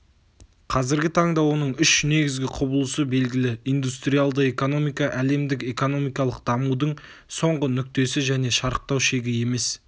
қазіргі таңда оның үш негізгі құбылысы белгілі индустриалды экономика әлемдік экономикалық дамудың соңғы нүктесі және шарықтау шегі емес